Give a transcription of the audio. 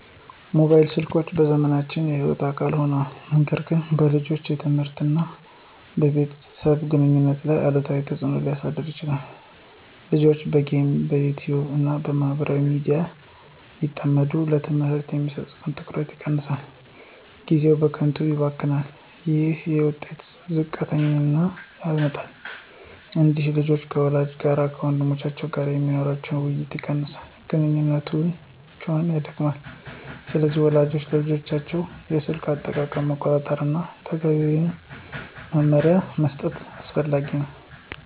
ሞባይል ስልኮች በዘመናችን የሕይወት አካል ሆነዋል፣ ነገር ግን በልጆች የትምህርት እና በቤተሰብ ግንኙነት ላይ አሉታዊ ተጽዕኖ ሊያሳድሩ ይችላሉ። ልጆች በጌሞች፣ በYouTube እና በማህበራዊ ሚዲያ ሲጠመዱ ለትምህርታቸው የሚሰጡት ትኩረት ይቀንሳል፣ ጊዜያቸውም በከንቱ ይባክናል። ይህ የውጤታቸውን ዝቅተኛነት ያመጣል። እንዲሁም ልጆች ከወላጆቻቸው እና ከወንድሞቻቸው ጋር የሚኖራቸው ውይይት ይቀንሳል፣ ግንኙነታቸውም ይደክማል። ስለዚህ ወላጆች የልጆቻቸውን የስልክ አጠቃቀም መቆጣጠር እና ተገቢ መመሪያ መስጠት አስፈላጊ ነው።